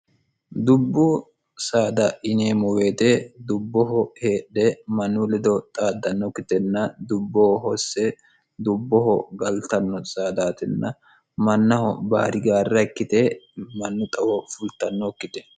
dubbu saada ineemoweete dubboho heedhe mannu ledo xaaddannokkitenna dubbo hosse dubboho galtanno saadaatinna mannaho baari gaarra ikkite mannu xawo fultannookkite